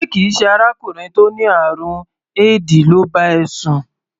Ṣé kì í ṣe arákùnrin tó ní àrùn éèdì ló bá ẹ sùn?